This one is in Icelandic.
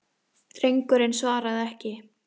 Drengurinn svaraði ekki.